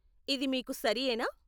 ఇది మీకు సరియేనా ?